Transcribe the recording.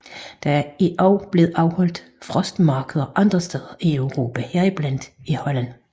Der er også blevet afholdt frostmarkeder andre steder i Europa heriblandt i Holland